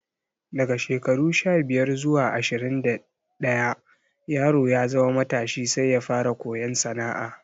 Daga shekaru sha-biyar zuwa ashirin da ɗaya yaro ya zama matashi sai ya fara koyon sana'a.